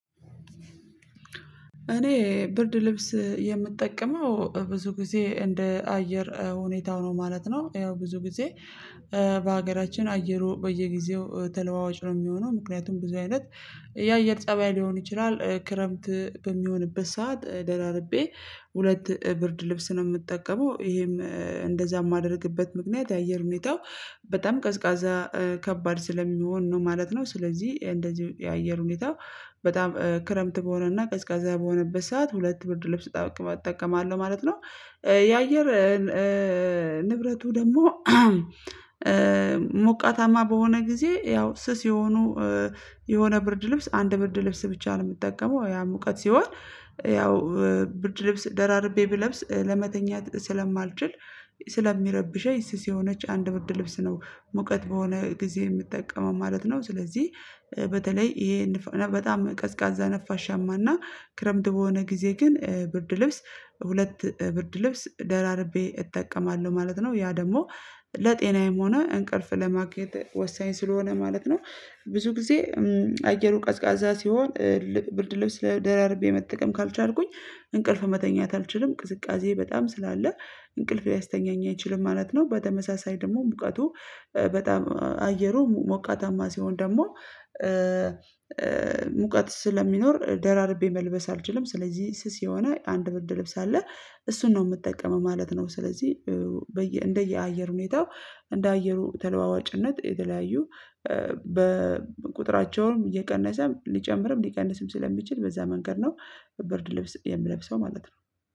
እኔ ብርድ ልብስ የምጠቀመው ብዙ ጊዜ እንደ አየር ሁኔታው ነው ማለት ነው። ያው ብዙ ጊዜ በሀገራችን አየሩ በየጊዜው ተለዋዋጭ ነው የሚሆነው ምክንያቱም ብዙ አይነት የአየር ፀባይ ሊሆን ይችላል ክረምት በሚሆንበት ሰዓት ደራርቤ ሁለት ብርድ ልብስ ነው የምጠቀመው ይሄም እንደዛ የማደርግበት ምክንያት የአየር ሁኔታው በጣም ቀዝቃዛ ከባድ ስለሚሆን ነው ማለት ነው። ስለዚህ እንደዚህ የአየር ሁኔታ በጣም ክረምት በሆነና ቀዝቃዛ በሆነበት ሰዓት ሁለት ብርድ ልብስ እጠቀማለሁ ማለት ነው። የአየር ንብረቱ ደግሞ ሞቃታማ በሆነ ጊዜ ያው ስስ የሆኑ የሆነ ብርድ ልብስ አንድ ብርድ ልብስ ብቻ ነው የምጠቀመው ያ ሙቀት ሲሆን ያው ብርድ ልብስ ደራርቤ ብለብስ ለመተኛት ስለማልችል ስለሚረብሸኝ ስስ የሆነች አንድ ብርድ ልብስ ነው ሙቀት በሆነ ጊዜ የምጠቀመው ማለት ነው። ስለዚህ በተለይ ይሄን በጣም ቀዝቃዛ ነፋሻማና ክረምት በሆነ ጊዜ ግን ብርድ ልብስ ሁለት ብርድ ልብስ ደራርቤ እጠቀማለሁ ማለት ነው ያ ደግሞ ለጤናዬም ሆነ እንቅልፍ ለማግኘት ወሳኝ ስለሆነ ማለት ነው። ብዙ ጊዜ አየሩ ቀዝቃዛ ሲሆን ብርድ ልብስ ለደራርቤ መጠቀም ካልቻልኩኝ እንቅልፍ መተኛት አልችልም ቅዝቃዜ በጣም ስላለ እንቅልፍ ሊያስተኛኝ አይችልም ማለት ነው። በተመሳሳይ ደግሞ ሙቀቱ በጣም አየሩ ሞቃታማ ሲሆን ደግሞ ሙቀት ስለሚኖር ደራርቤ መልበስ አልችልም ስለዚህ ስስ የሆነ አንድ ብርድ ልብስ አለ እሱን ነው የምጠቀመው ማለት ነው። ስለዚህ በየ እንደ አየር ሁኔታው እንደ አየሩ ተለዋዋጭነት የተለያዩ በቁጥራቸውም እየቀነሰ ሊጨምርም ሊቀንስም ስለሚችል በዛ መንገድ ነው በብርድ ልብስ የምለብሰው ማለት ነው